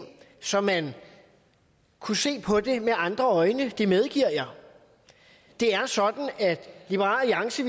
så man kunne se på det med andre øjne det medgiver jeg det er sådan at liberal alliance